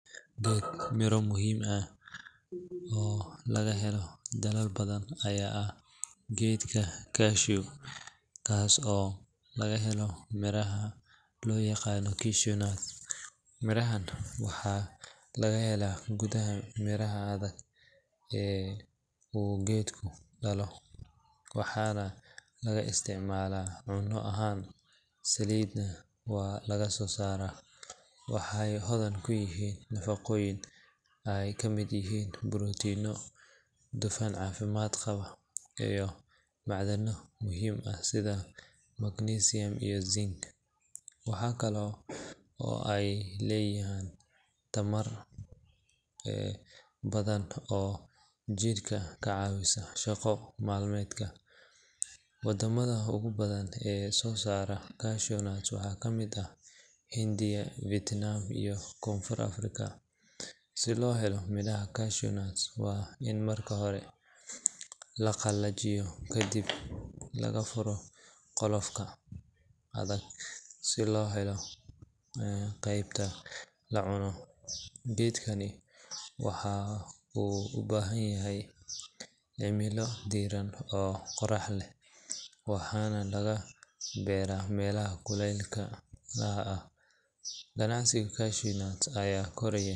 Geed miro leh oo muhiim ah oo laga helo dalal badan ayaa ah geedka cashew kaas oo laga helo miraha loo yaqaan cashewnut. Mirahan waxa laga helaa gudaha miraha adag ee uu geedku dhalo, waxaana laga isticmaalaa cunno ahaan, saliidna waa laga soo saaraa. Waxay hodan ku yihiin nafaqooyin ay ka mid yihiin borotiinno, dufan caafimaad qaba, iyo macdano muhiim ah sida magnesium iyo zinc. Waxa kale oo ay bixiyaan tamar badan oo jidhka ka caawiya shaqo maalmeedka. Wadamada ugu badan ee soo saara cashewnut waxaa ka mid ah Hindiya, Vietnam, iyo Koonfurta Afrika. Si loo helo miraha cashew waa in marka hore la qallajiyo, kadibna laga furo qolofkooda adag si loo helo qaybta la cuno. Geedkani waxa uu u baahan yahay cimilo diiran oo qorrax leh, waxaana laga beeraa meelaha kuleylaha ah. Ganacsiga cashewnut ayaa koraya.